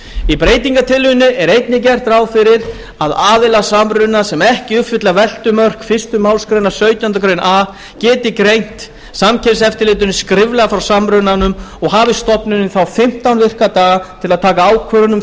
í breytingartillögunni er einnig gert ráð fyrir að aðilar samruna sem ekki uppfylla veltumörk fyrstu málsgrein sautjándu grein a geti greint samkeppniseftirlitinu skriflega frá samrunanum og hafi stofnunin þá fimmtán virka daga til að taka ákvörðun um